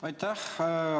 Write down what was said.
Aitäh!